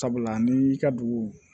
Sabula ni y'i ka dugu